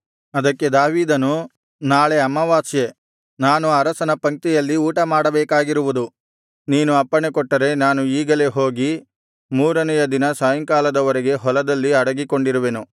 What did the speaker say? ಅದಕ್ಕೆ ದಾವೀದನು ನಾಳೆ ಅಮಾವಾಸ್ಯೆ ನಾನು ಅರಸನ ಪಂಕ್ತಿಯಲ್ಲಿ ಊಟಮಾಡಬೇಕಾಗಿರುವುದು ನೀನು ಅಪ್ಪಣೆಕೊಟ್ಟರೆ ನಾನು ಈಗಲೇ ಹೋಗಿ ಮೂರನೆಯ ದಿನ ಸಾಯಂಕಾಲದವರೆಗೆ ಹೊಲದಲ್ಲಿ ಅಡಗಿಕೊಂಡಿರುವೆನು